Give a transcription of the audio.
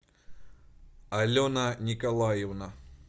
алена николаевна